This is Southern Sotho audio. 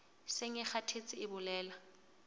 seng e kgathetse e bolela